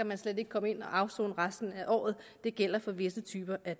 man slet ikke komme ind at afsone resten af året det gælder for visse typer af